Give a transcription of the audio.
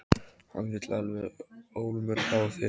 Hann vill alveg ólmur fá þig.